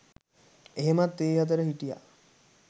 එහෙමත් ඒ අතර හිටියා.